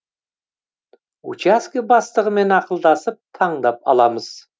учаске бастығымен ақылдасып таңдап аламыз